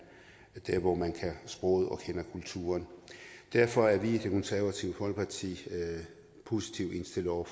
der hvor man kan sproget og kender kulturen derfor er vi i det konservative folkeparti positivt indstillet over